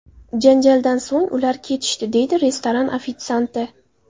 Janjaldan so‘ng, ular ketishdi”, deydi restoran ofitsianti.